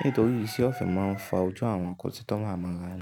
Nítorí iṣẹ́ ọ̀fẹ́ máa ń fa ojú àwọn kọ́sítọ́mà mo rà á.